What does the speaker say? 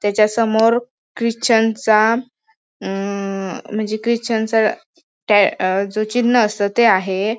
त्याच्या समोर ख्रिश्चन चा म म मंजे ख्रिश्चनचा टया म्हणजे चिन्ह असत ते आहे.